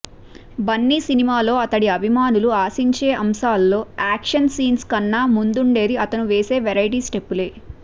బన్నీ సినిమాలో అతడి అభిమానులు ఆశించే అంశాల్లో యాక్షన్ సీన్స్ కన్నా ముందుండేది అతడు వేసే వెరైటీ స్టెప్పులే